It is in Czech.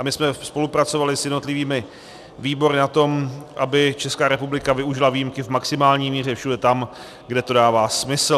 A my jsme spolupracovali s jednotlivými výbory na tom, aby Česká republika využila výjimky v maximální míře všude tam, kde to dává smysl.